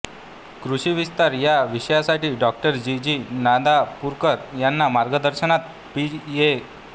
कृषी विस्तार या विषयासाठी डॉ जी जी नांदापूरकर यांच्या मार्गदर्शनात पीएच